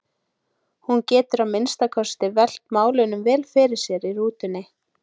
Hún getur að minnsta kosti velt málunum vel fyrir sér í rútunni.